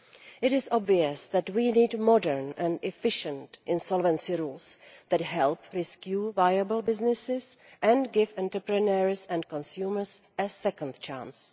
It is obvious that we need modern and efficient insolvency rules that help rescue viable businesses and give entrepreneurs and consumers a second chance.